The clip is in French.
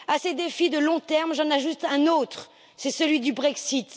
À ces défis de long terme, j'en ajoute un autre, c'est celui du Brexit.